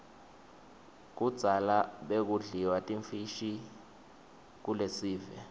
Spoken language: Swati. kudzala bekudliwa timfishi kuiesive